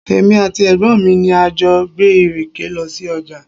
Èmi àti ẹ̀gbọ́n mi ni a jọ gbé ìrèké lọ sí ọjà.